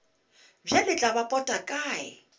bjale tla ba pota kae